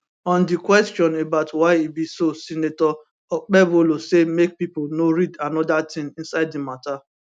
on di question about why e be so senator okpebholo say make pipo no read anoda tin inside di mata